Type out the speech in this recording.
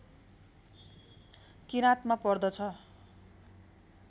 किराँतमा पर्दछ